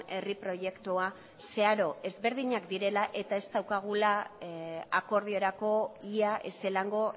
herri proiektua zeharo ezberdinak direla eta ez daukagula akordiorako ia ezelango